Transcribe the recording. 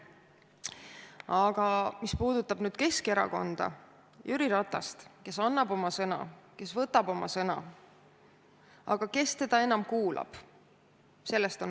Aga mis puudutab Keskerakonda ja Jüri Ratast, kes annab oma sõna ja kes võtab oma sõna – kes teda enam kuulab?